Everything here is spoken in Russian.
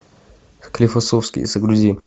склифосовский загрузи